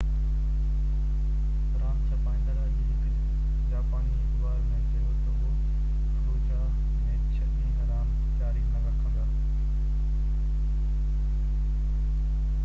راند ڇپائيندڙ اڄ هڪ جاپاني اخبار ۾ چيو تہ اهي فلوجاه ۾ ڇهہ ڏينهن راند جاري نہ رکندا